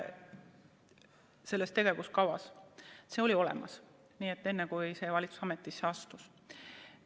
See tegevuskava oli olemas enne, kui praegune valitsus ametisse astus.